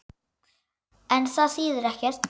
En það þýðir ekkert.